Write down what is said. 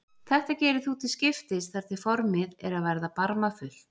Þetta gerir þú til skiptis þar til formið er að verða barmafullt.